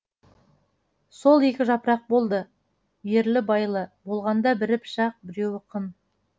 сол екі жапырақ болды ерлі байлы болғанда бірі пышақ біреуі қын